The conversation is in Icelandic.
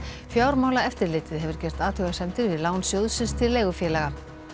fjármálaeftirlitið hefur gert athugasemdir við lán sjóðsins til leigufélaga